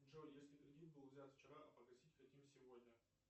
джой если кредит был взят вчера а погасить хотим сегодня